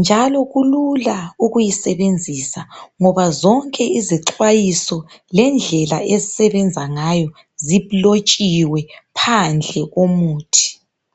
njalo kulula ukuyisebenzisa ngoba zonke izixwayiso lendlela esebenza ngayo zilotshiwe phandle komuthi.